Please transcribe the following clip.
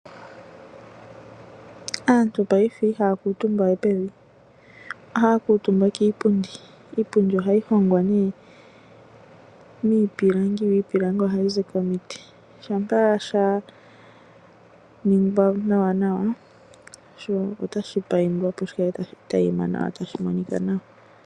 Aantu paife ihaa kuutumba we pevi, ohaa kuutumba kiipundi. Iipundi oha yi hongwa ne miipilangi ha yi zi komiti. Shampa sha ningwa nawanawa, sho ota shi paindwa opo shi kale ta shi taima , sho shi kale ta shi monika nawa.